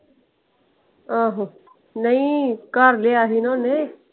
ਆਹੋ। ਨਹੀਂ ਘਰ ਲਿਆ ਸੀ ਨਾ ਓਹਨੇ।